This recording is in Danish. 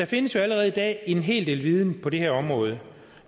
findes jo allerede i dag en hel del viden på det her område